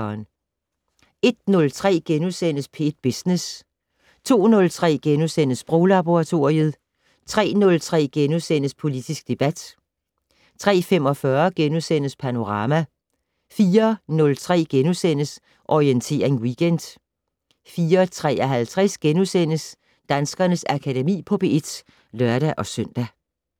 01:03: P1 Business * 02:03: Sproglaboratoriet * 03:03: Politisk debat * 03:45: Panorama * 04:03: Orientering Weekend * 04:53: Danskernes Akademi på P1 *(lør-søn)